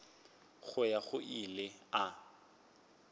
go ya go ile a